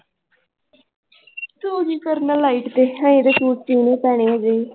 ਤੂੰ ਕੀ ਕਰਨਾ light ਤੇ ਪੈਣੀ ਹੈਗੀ।